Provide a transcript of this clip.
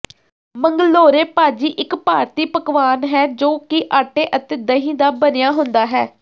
ਮੰਗਲੋਰੇ ਭਾਜੀ ਇੱਕ ਭਾਰਤੀ ਪਕਵਾਨ ਹੈ ਜੋ ਕੀ ਆਟੇ ਅਤੇ ਦਹੀਂ ਦਾ ਬਣਿਆ ਹੁੰਦਾ ਹੈ